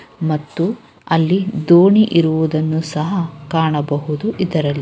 ಮತ್ತು ಅಲ್ಲಿ ದೋಣಿ ಇರುವುದನ್ನು ಸಹ ಕಾಣಬಹುದು ಇದರಲ್ಲಿ.